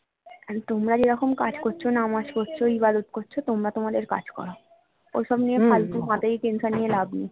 তোমরা যেরকম কাজ করছো নামা পড়ছ ইবাদাত করছো তোমরা তোমাদের কাজ করো ঐসব নিয়ে ফালতু মাথায় tension নিয়ে লাভ নেই